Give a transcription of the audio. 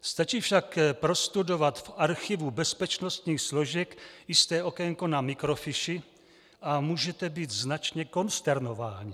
Stačí však prostudovat v archivu bezpečnostních složek jisté okénko na mikrofiši a můžete být značně konsternováni.